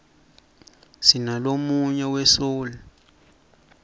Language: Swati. sinalonuyg we soul